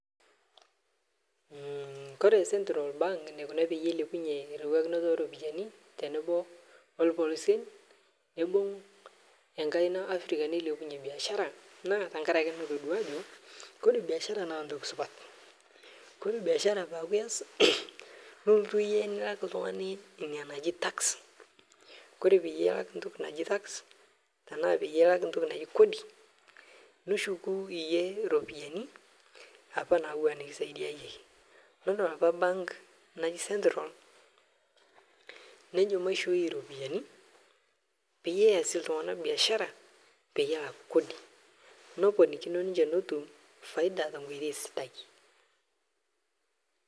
Mhh kore central bank eneikuna peyie eilepunye eriwakinoto oropiyani tenebo olpolosien neibung' enkaina Afrika neilepunye biashara naa tengarake natodua ajo kore biashara naa ntoki supat. Kore biashara peaku ias nilotu iyie nilak oltung'ani ina naji tax, kore peyie ilak ntoki naji tax tenaa peyie ilak ntoki naji kodi niushuku iyie iropiyani apa naawua nikisaidia iyie. Idolita apa bank naji central nejo maishooi iropiyani peyie easie iltung'ana  biashara peyie elak kodi. Neponikino ninche netum faida tenkoitoi sidai.